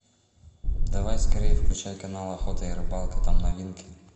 давай скорей включай канал охота и рыбалка там новинки